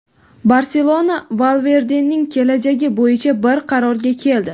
"Barselona" Valverdening kelajagi bo‘yicha bir qarorga keldi.